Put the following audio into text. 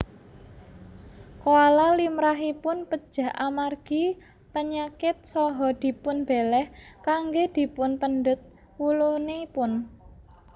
Koala limrahipun pejah amargi penyakit saha dipunbeléh kanggé dipunpendhet wulunipun